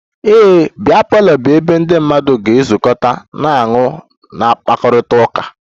A biya parlour bụ ebe ndị mmadụ ga-ezukọta na-aṅụ na-akpakọrịta